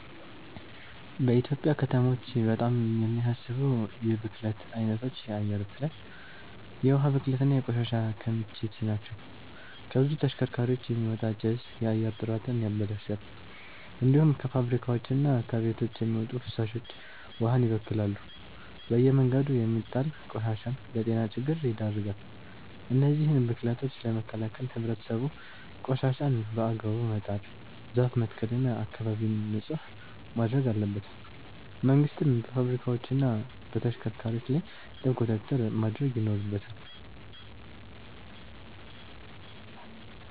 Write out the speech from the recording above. በኢትዮጵያ ከተሞች በጣም የሚያሳስቡ የብክለት አይነቶች የአየር ብክለት፣ የውሃ ብክለት እና የቆሻሻ ክምችት ናቸው። ከብዙ ተሽከርካሪዎች የሚወጣ ጭስ የአየር ጥራትን ያበላሻል። እንዲሁም ከፋብሪካዎችና ከቤቶች የሚወጡ ፍሳሾች ውሃን ይበክላሉ። በየመንገዱ የሚጣል ቆሻሻም ለጤና ችግር ይዳርጋል። እነዚህን ብክለቶች ለመከላከል ህብረተሰቡ ቆሻሻን በአግባቡ መጣል፣ ዛፍ መትከል እና አካባቢን ንጹህ ማድረግ አለበት። መንግስትም በፋብሪካዎችና በተሽከርካሪዎች ላይ ጥብቅ ቁጥጥር ማድረግ ይኖርበታል።